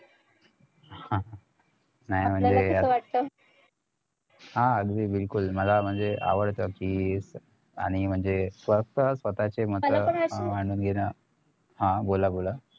न्हाय म्हणजे हा अगदी बिलकुल मला म्हणजे आवडत कि आणि म्हणजे स्वतः स्वतःचे मत मांडून घेणं हा बोला बोला